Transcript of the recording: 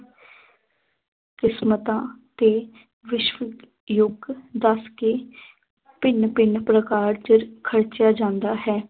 ਕਿਸਮਤਾਂ ਤੇ ਵਿਸ਼ਵ ਯੁੱਗ ਦੱਸ ਕੇ ਭਿੰਨ ਭਿੰਨ ਪ੍ਰਕਾਰ ਚ ਖਰਚਿਆ ਜਾਂਦਾ ਹੈ